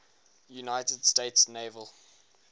united states naval